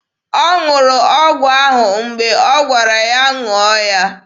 Ọ ṅụrụ ọgwụ ahụ mgbe m gwara ya ṅụọ ya.